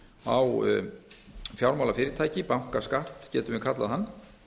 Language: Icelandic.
á fjármálafyrirtæki bankaskatt getum við kallað hann